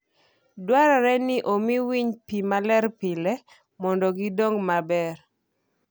Dwarore ni omi winy pi maler pile mondo gidong maber.